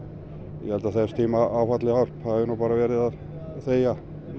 ég held að þess tíma áfallahjálp hafi bara verið að þegja